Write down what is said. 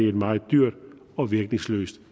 et meget dyrt og virkningsløst